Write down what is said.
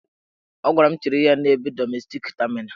Ọ gwara m chere ya n'ebe dọmestik tamina.